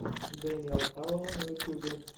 дэниэл хауэлл на ютюбе